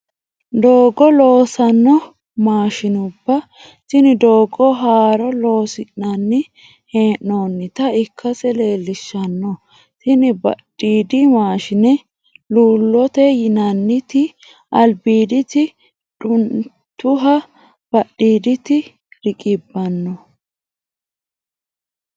Doogo loosanno maashinuba, tini doogo haaro loo'nsanni hee'nonitta ikkase leelishanno, tini ba'dhidi maashine luulote yinanni ti'i alibiditi du'nituha ba'dhiiditi rigidano